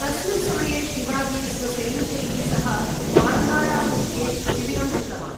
तस्मिन् समये शिवाजी स्वसैनिकैः सह पान्हाळादुर्गे शिविरं कृतवान्।